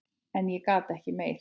En ég gat ekki meir.